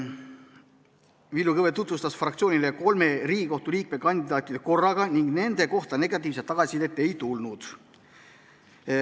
Villu Kõve tutvustas fraktsioonile kolme Riigikohtu liikme kandidaati korraga ning nende kohta negatiivset tagasisidet ei tulnud.